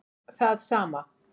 Það sama